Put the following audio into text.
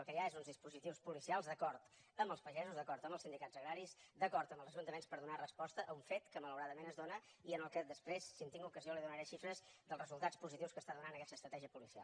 el que hi ha són uns dispositius poli cials d’acord amb els pagesos d’acord amb els sindicats agraris d’acord amb els ajuntaments per donar resposta a un fet que malauradament es dóna i sobre el qual després si hi tinc ocasió li donaré xifres dels resultats positius que està donant aquesta estratègia policial